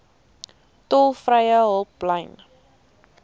tolvrye hulplyn